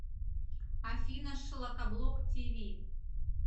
афина шлакоблок ти ви